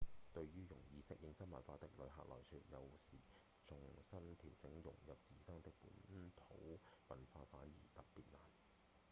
對於容易適應新文化的遊客來說有時重新調整融入自身的本土文化反而特別難